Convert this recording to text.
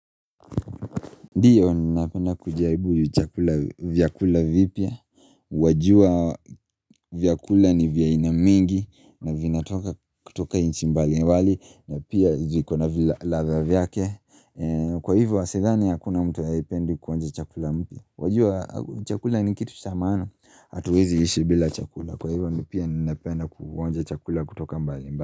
Ndiyo ninapenda kujaribu chakula vyakula vipya Wajua vyakula ni vya aina mingi na vina kutoka nchi mbali mbali na pia zikona vile ladha vyake Kwa hivo asidhani hakuna mtu hapendi kuhonja chakula mpya Wajua chakula ni kitu cha maana hatuwezi ishi bila chakula Kwa hivyo ninapenda kuhonja chakula kutoka mbali mbali.